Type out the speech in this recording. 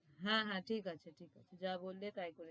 হ্যাঁ হ্যাঁ ঠিক আছে ঠিক আছে যা বললে তাই করে দিচ্ছি।